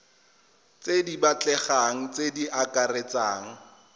di batlegang tse di akaretsang